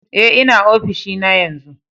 Eh, n'na ofishin na yanzu.